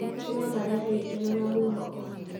Mabuku no marehe gĩkeno na mwĩhoko.